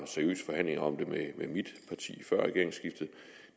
seriøse forhandlinger om det med mit parti før regeringsskiftet